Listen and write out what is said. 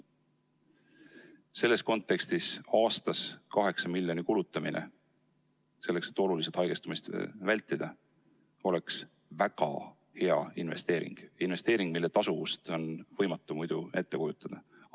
Selles kontekstis aastas 8 miljoni kulutamine selleks, et oluliselt haigestumist vältida, oleks väga hea investeering – investeering, mille tasuvust on võimatu ette kujutada.